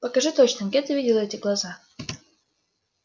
покажи точно где ты видела эти глаза